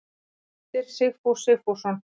Heimildir Sigfús Sigfússon.